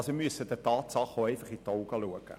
Wir müssen den Tatsachen einfach in die Augen sehen.